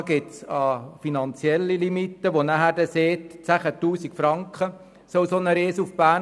Unter Absatz 2 finden wir eine finanzielle Limite von 10 000 Franken für eine solche «Reise nach Bern».